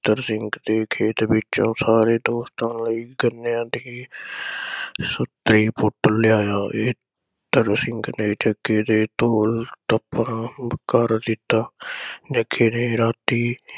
ਬਚਿੱਤਰ ਸਿੰਘ ਦੇ ਖੇਤ ਵਿਚੋ ਸਾਰੇ ਦੋਸਤਾਂ ਲਈ ਗੰਨਿਆ ਦੀ ਪੁੱਟ ਲਾਇਆ। ਬਚਿੱਤਰ ਸਿੰਘ ਨੇ ਜੱਗੇ ਦੋ ਥੱਪੜ ਉਕਰ ਦਿੱਤਾ। ਜੱਗੇ ਨੇ ਰਾਤੀ